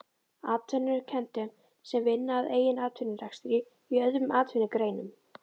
Atvinnurekendum sem vinna að eigin atvinnurekstri í öðrum atvinnugreinum.